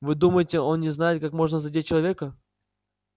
вы думаете он не знает как можно задеть человека